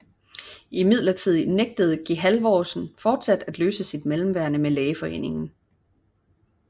Imidlertid nægtede geHalvorsen fortsat løse sit mellemværende med lægeforeningen